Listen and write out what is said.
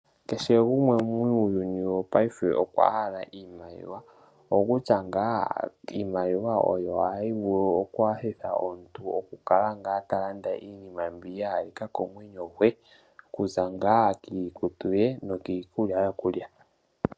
Kehe gumwe muuyuni wo paife okwa hala iimaliwa okutya ngaa iimaliwa oyo hayi vulu okunyanyitha omuntu, okukala ngaa ta landa iinima mbi ya halika komwenyo gwe. Okuza ngaa kiikutu ye no kiikulya yo kulya.